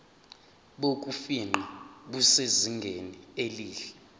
bokufingqa busezingeni elihle